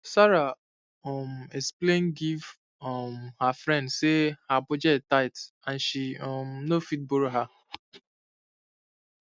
sarah um explain give um her friend say her budget tight and she um no fit borrow her